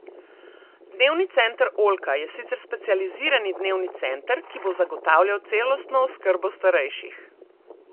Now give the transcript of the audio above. Dnevni center Oljka je sicer specializirani dnevni center, ki bo zagotavljal celostno oskrbo starejših.